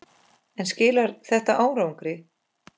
En skilar þetta árangri?